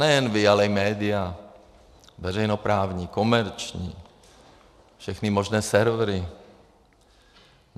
Nejen vy, ale i média, veřejnoprávní, komerční, všechny možné servery.